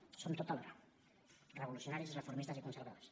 ho som tot alhora revolucionaris reformistes i conservadors